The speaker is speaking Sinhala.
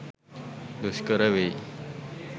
දුෂ්කර වෙයි.